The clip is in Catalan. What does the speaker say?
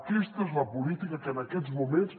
aquesta és la política que en aquests moments